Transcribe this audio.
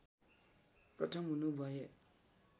प्रथम हुनु भए